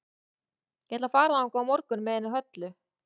Ég ætla að fara þangað á morgun með henni Höllu.